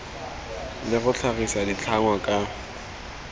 le go tlhagisa ditlhangwa ka